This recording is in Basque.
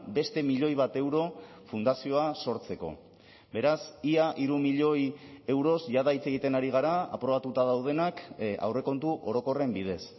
beste milioi bat euro fundazioa sortzeko beraz ia hiru milioi euroz jada hitz egiten ari gara aprobatuta daudenak aurrekontu orokorren bidez